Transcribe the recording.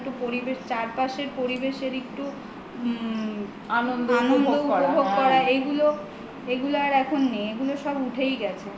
একটু চারপাশের পরিবেশের একটু আনন্দ উপভোগ করা এগুলো এগুলো আর এখন নেই এগুলো সব উঠেই গেছে